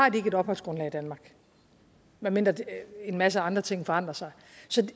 et opholdsgrundlag i danmark medmindre en masse andre ting forandrer sig